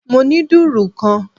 Mo ní dùrù kan